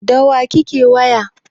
Da wa kake waya?